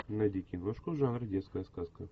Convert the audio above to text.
найди киношку жанра детская сказка